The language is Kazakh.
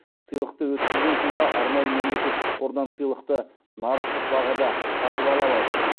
сыйлықты өткізген тұлға арнайы мемлекеттік қордан сыйлықты нарықтық бағада сатып ала алады